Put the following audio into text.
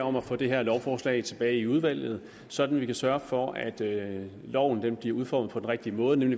om at få det her lovforslag tilbage i udvalget sådan at vi kan sørge for at loven bliver udformet på den rigtige måde man